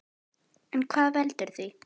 En hvað veldur því?